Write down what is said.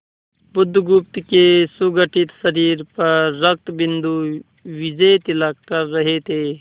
बुधगुप्त के सुगठित शरीर पर रक्तबिंदु विजयतिलक कर रहे थे